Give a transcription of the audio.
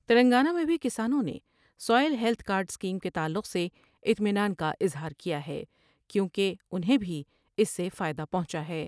تلنگانہ میں بھی کسانوں نے سوئیل ہیلت کارڈ اسکیم کے تعلق سے اطمینان کا اظہار کیا ہے کیوں کہ انہیں بھی اس سے فائدہ پہنچا ہے ۔